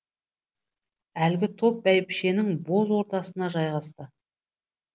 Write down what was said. әлгі топ бәйбішенің боз ордасына жайғасты